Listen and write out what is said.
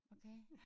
Okay